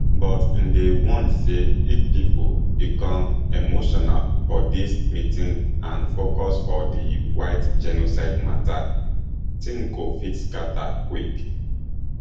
but im dey warn say if pipo become emotional for dis meeting and focus for di white genocide mata tins go fit scata quick